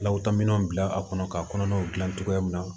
Lakotominɛw bila a kɔnɔ ka kɔnɔnaw dilan cogoya min na